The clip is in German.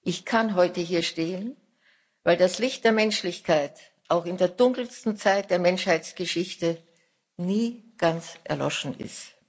Ich kann heute hier stehen, weil das Licht der Menschlichkeit auch in der dunkelsten Zeit der Menschheitsgeschichte nie ganz erloschen ist.